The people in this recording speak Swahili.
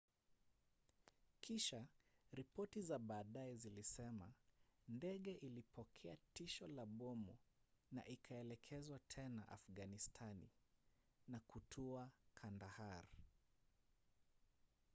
kisha ripoti za baadaye zilisema ndege ilipokea tishio la bomu na ikaelekezwa tena afganistani na kutua kandahar